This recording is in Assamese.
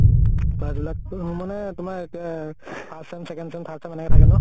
class বিলাক উম মানে তোমাৰ কেয়ে first sem second sem third sem এনেকে থাকে ন